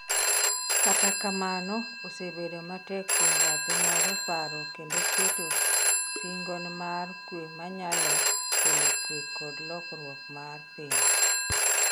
kata kamano, osebedo matek kuom bathe moro paro kendo keto singonmar kwe ma nyalo kelo kwe kod lokwruok mar piny